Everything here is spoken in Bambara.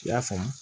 I y'a faamu